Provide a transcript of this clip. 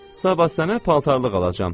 Sabah sənə paltarlıq alacam.